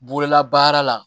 Bololabaara la